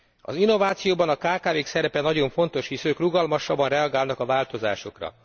Az innovációban a kkv k szerepe nagyon fontos, hisz ők rugalmasabban reagálnak a változásokra.